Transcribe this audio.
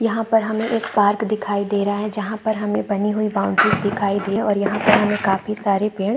यहाँ पर हमें एक पार्क दिखाई दे रहा है जहाँ पर हमें बनी हुई बाउंड्रीस दिखाई दे रही है और यहाँ पर हमें काफी सारे पेड़ --